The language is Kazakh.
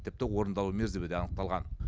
тіпті орындалу мерзімі де анықталған